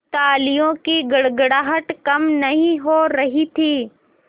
तालियों की गड़गड़ाहट कम नहीं हो रही थी